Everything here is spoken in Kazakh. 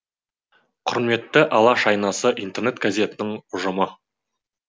құрметті алаш айнасы интернет газетінің ұжымы